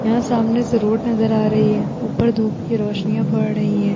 यहाँ सामने से रोड नजर आ रही है। ऊपर धूप की रोशनिया पड़ ही हैं।